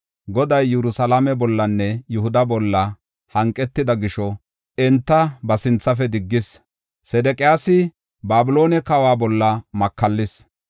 Goday Yerusalaame bollanne Yihuda bolla hanqetida gisho enta ba sinthafe diggis. Sedeqiyaasi Babiloone kawa bolla makallis.